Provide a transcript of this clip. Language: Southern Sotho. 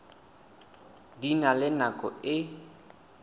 di na le nako e